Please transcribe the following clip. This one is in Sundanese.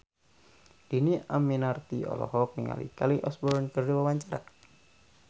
Dhini Aminarti olohok ningali Kelly Osbourne keur diwawancara